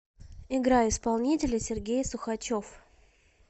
играй исполнителя сергей сухачев